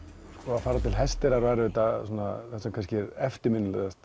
að fara til Hesteyrar var eftirminnilegast